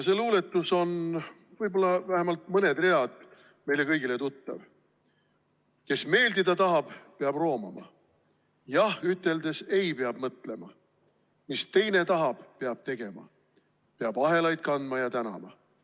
See luuletus või võib-olla vähemalt mõned read sellest on meile kõigile tuttavad: "Kes meeldida tahab, peab roomama, / "jah" üteldes "ei" peab mõtlema, / mis teine tahab, peab tegema, / peab ahelaid kandma ja – tänama!